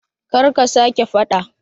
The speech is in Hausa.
Kar ka sa ke fada